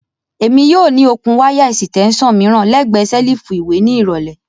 Emi yoo ni okun waya esitesan miiran lẹgbẹẹ selifu iwe ni irọlẹ.